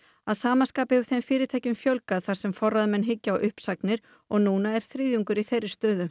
að sama skapi hefur þeim fyrirtækjum fjölgað þar sem forráðamenn hyggja á uppsagnir og er núna eru þriðjungur í þeirri stöðu